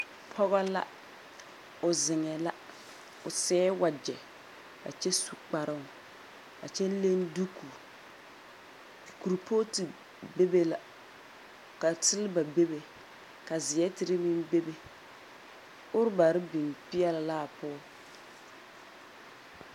Pɔgɔ la. O zeŋɛɛ la, o seɛ wagyɛ, a kyɛ su kparoŋ, a kyɛ leŋ duuku. Kurpooti bebe la ka seleba bebe ka zeɛr tere meŋ bebe, orbarr biŋ peɛle la a pɔg.